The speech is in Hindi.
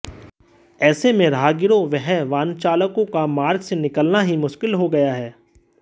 ऐसे में राहगीरों व वाहनचालकों का मार्ग से निकलना ही मुष्किल हो गया है